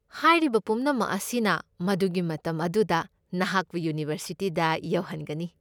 ꯍꯥꯏꯔꯤꯕ ꯄꯨꯝꯅꯃꯛ ꯑꯁꯤꯅ ꯃꯗꯨꯒꯤ ꯃꯇꯝ ꯑꯗꯨꯗ ꯅꯍꯥꯛꯄꯨ ꯌꯨꯅꯤꯚꯔꯁꯤꯇꯤꯗ ꯌꯧꯍꯟꯒꯅꯤ꯫